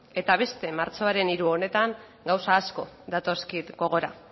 eta beste martxoaren hiru honetan gauza asko datozkit gogora